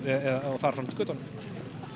og þar fram eftir götunum